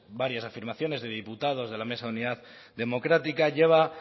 varias afirmaciones de diputados de la mesa de unidad democrática lleva